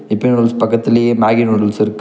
இப்பி noodles பக்கத்துலயே Maggi noodles இருக்கு.